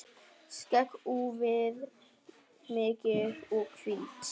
Skegg úfið, mikið og hvítt.